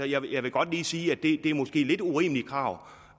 jeg vil jeg vil godt lige sige at det måske er lidt urimelige krav